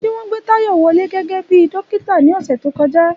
Ṣé wọ́n gbé Tayo wọlé gẹ́gẹ́ bí dókítà ní ọ̀sẹ̀ tó kọjá?